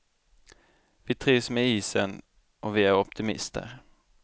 Vi trivs med isen och vi är optimister.